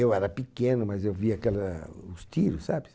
Eu era pequeno, mas eu via aquela, os tiros, sabe?